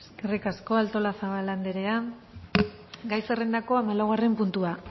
eskerrik asko artolazabal andrea gai zerrendako hamalaugarren puntua